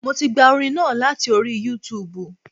Mo ti gba orin náà láti orí Youtube